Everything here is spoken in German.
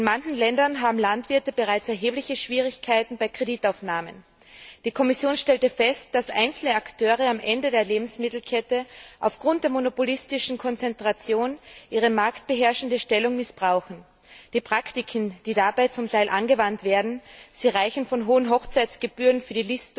In manchen Ländern haben Landwirte bereits erhebliche Schwierigkeiten bei der Kreditaufnahme. Die Kommission stellte fest, dass einzelne Akteure am Ende der Lebensmittelkette aufgrund der monopolistischen Konzentration ihre marktbeherrschende Stellung missbrauchen. Die Praktiken, die dabei zum Teil angewandt werden sie umfassen hohe Listungsgebühren für